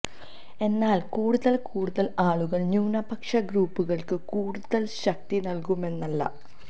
എന്നാൽ കൂടുതൽ കൂടുതൽ ആളുകൾ ന്യൂനപക്ഷ ഗ്രൂപ്പുകൾക്ക് കൂടുതൽ ശക്തി നൽകുമെന്നല്ല